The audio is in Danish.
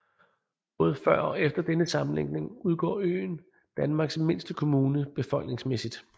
Både før og efter denne sammenlægning udgør øen Danmarks mindste kommune befolkningsmæssigt